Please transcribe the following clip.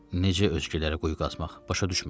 Necə özgülərə quyu qazmaq, başa düşmürəm.